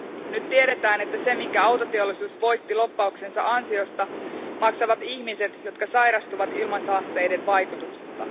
Nyt tiedetään, että sen, minkä autoteollisuus voitti lobbauksensa ansiosta, maksavat ihmiset, jotka sairastuvat ilmansaasteiden vaikutuksesta.